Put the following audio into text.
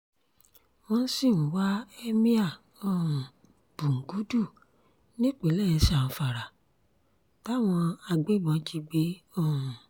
wọ́n sì ń wá émíà um búngúdù nípìnlẹ̀ zamfara táwọn agbébọn jí gbé um